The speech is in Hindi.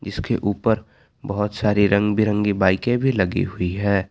इसके ऊपर बहुत सारे रंग बिरंगी बाइके भी लगी हुई है।